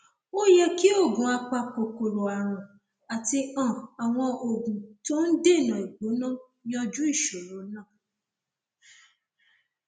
ó yẹ kí oògùn apakòkòrò ààrùn àti um àwọn oògùn tó ń dènà ìgbóná yanjú ìṣòro náà